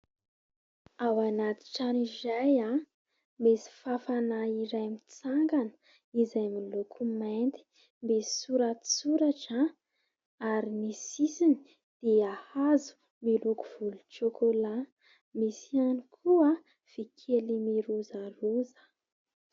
Ao anaty trano iray misy fafana iray mitsangana izay amin'ny loko mainty, misy soratsoratra ary ny sisiny dia hazo miloko volontsôkôlà misy ihany koa vy kely mirozaroza.